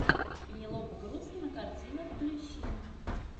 пенелопа крус кинокартина включи